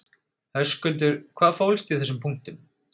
Höskuldur: Hvað fólst í þessum punktum?